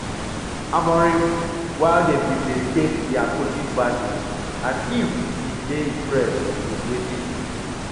amorim while dem bin dey take dia coaching badges and im bin dey impressed wit wetin